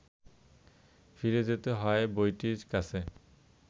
ফিরে যেতে হয় বইটির কাছে